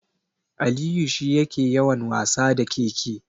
Aliyu shi yake yawan wasa da keke.